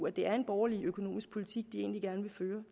at det er en borgerlig økonomisk politik de egentlig gerne vil føre